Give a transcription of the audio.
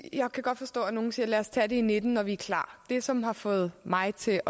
jeg kan godt forstå at nogle siger lad os tage det i nitten når vi er klar det som har fået mig til